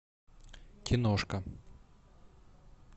киношка